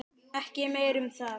Ekki meira um það.